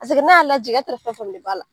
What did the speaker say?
Paseke n' y'a lajigin e t'a don fɛn fɛn de b'a la